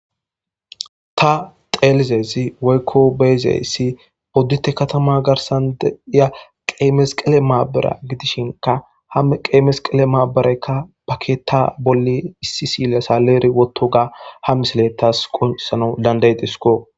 ta xeelizesi woykko beezayssi oddute katama garsan deiya qeemes qele maabara gidishinka ha qeemes qele maabareykka paketa bolli issi siila sa leeri wotto ga ha misile taas konsana danday disko